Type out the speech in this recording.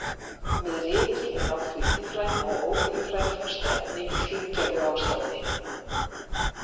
Með ryki er átt við lífræn og ólífræn föst efni í fíngerðu ástandi.